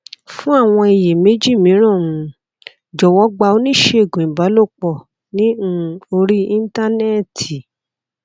fún àwọn iyèméjì mìíràn um jọwọ gba oníṣègùn ìbálòpò ní um orí íńtánéètì